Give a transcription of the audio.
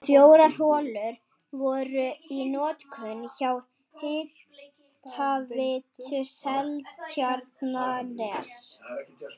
Fjórar holur voru í notkun hjá Hitaveitu Seltjarnarness.